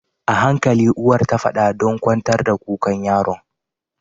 Ahankali uwar tafada ɗan kwantar da kukan yaron